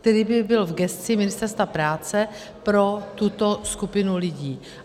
- který by byl v gesci Ministerstva práce pro tuto skupinu lidí.